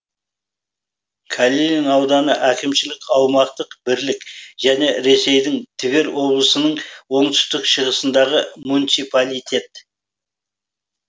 калинин ауданы әкімшілік аумақтық бірлік және ресейдің тверь облысының оңтүстік шығысындағы муниципалитет